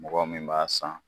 Mɔgɔ min b'a san